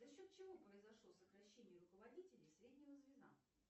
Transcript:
за счет чего произошло сокращение руководителей среднего звена